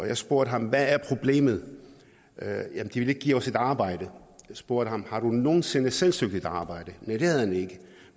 jeg spurgte ham hvad er problemet de vil ikke give os et arbejde jeg spurgte ham har du nogen sinde selv søgt et arbejde nej det havde han ikke